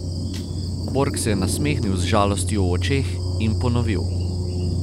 Bork se je nasmehnil z žalostjo v očeh in ponovil.